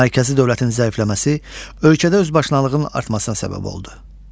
Mərkəzi dövlətin zəifləməsi ölkədə özbaşınalığın artmasına səbəb oldu.